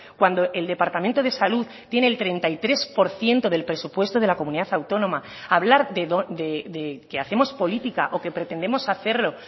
cuando el departamento de salud tiene el treinta y tres por ciento del presupuesto de la comunidad autónoma hablar de que hacemos política o que pretendemos hacerlo